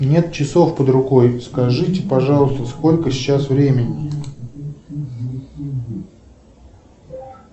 нет часов под рукой скажите пожалуйста сколько сейчас времени